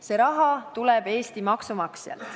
See raha tuleb Eesti maksumaksjalt.